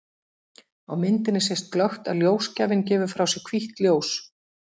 Á myndinni sést glöggt að ljósgjafinn gefur frá sér hvítt ljós.